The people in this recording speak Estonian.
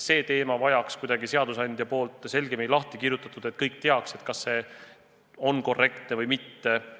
See teema vajaks seadusandja poolt selgemini lahti kirjutamist, et kõik teaks, mis on korrektne, mis mitte.